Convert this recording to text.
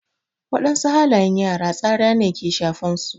Wadansu halayen yara tsara ne ke shafan su.